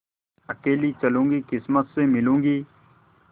अकेली चलूँगी किस्मत से मिलूँगी